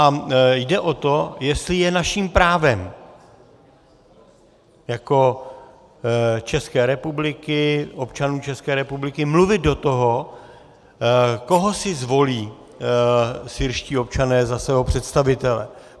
A jde o to, jestli je naším právem jako České republiky, občanů České republiky, mluvit do toho, koho si zvolí syrští občané za svého představitele.